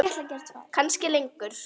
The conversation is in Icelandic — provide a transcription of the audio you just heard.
Kannski lengur.